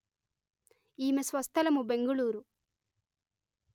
ఈమె స్వస్థలము బెంగుళూరు